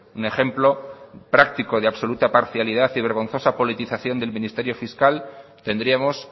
un ejemplo práctico de absoluta parcialidad y vergonzosa politización del ministerio fiscal tendríamos